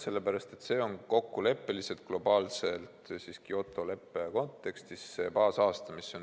Sellepärast, et see on kokkuleppeliselt, globaalselt Kyoto leppe kontekstis baasaasta.